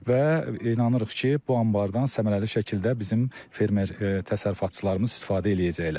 Və inanırıq ki, bu anbardan səmərəli şəkildə bizim fermer təsərrüfatçılarımız istifadə eləyəcəklər.